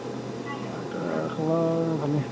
মা-দেউতাৰ খবৰ ভালে